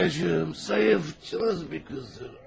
Sonya'cığım zayıf, cılız bir qızdır.